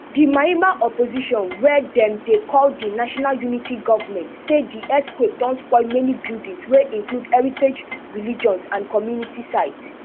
di myanmar opposition wey dem dey call di national unity government say di earthquake don spoil many buildings wey include heritage religious and community sites